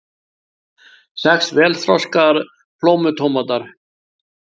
Sex vel þroskaðir plómutómatar